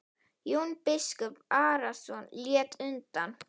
Jón biskup Arason lét undan.